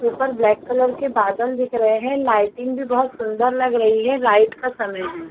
ऊपर black colour के बादल दिख रहै है लाइटिंग भी बहोत सुन्दर लग रही है नाईट का समय है।